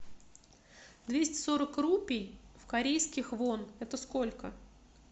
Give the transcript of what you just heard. двести сорок рупий в корейских вон это сколько